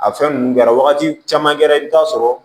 A fɛn ninnu kɛra wagati caman kɛra i bɛ taa sɔrɔ